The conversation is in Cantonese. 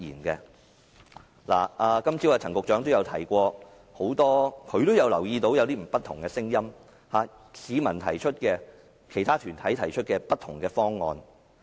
今早陳局長也提到，留意到有不同的聲音，市民和其他團體提出的不同方案。